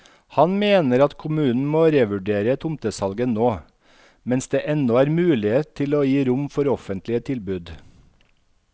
Han mener at kommunen må revurdere tomtesalget nå, mens det ennå er muligheter til å gi rom for offentlige tilbud.